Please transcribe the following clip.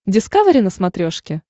дискавери на смотрешке